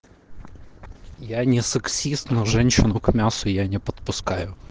я не сексист но женщину к мясу я не подпускаю